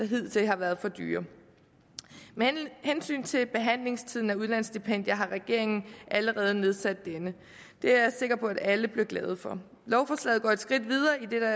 hidtil har været for dyre med hensyn til behandlingstiden af udlandsstipendier har regeringen allerede nedsat denne det er jeg sikker på at alle bliver glade for lovforslaget går et skridt videre idet der